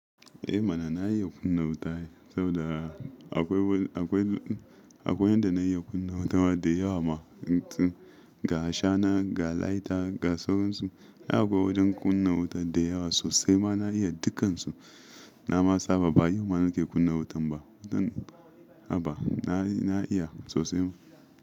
Eh mana na iya kunna wuta ai saboda akwai, akwai, akwai yadda na iya kunna wuta da yawa ma. Ga shana, ga laita, ga sauransu. Ai akwai wajen kunna wutan da yawa sosai ma na iya dukansu. Na ma saba ba yau ma nake kunna wutan ba. A ba na iya sosai.